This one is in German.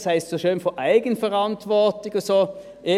Es ist so schön von Eigenverantwortung und so die Rede.